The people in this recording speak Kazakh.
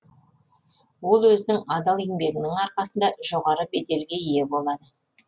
ол өзінің адал еңбегінің арқасында жоғары беделге ие болады